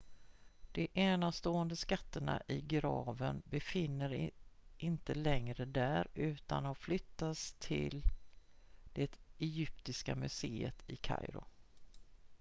de enastående skatterna i graven befinner inte längre där utan har flyttats till det egyptiska museet i kairo